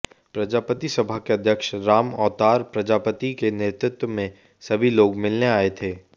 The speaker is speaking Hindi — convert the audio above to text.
प्रजापति सभा के अध्यक्ष रामऔतार प्रजापति के नेतृत्व में सभी लोग मिलने आए थे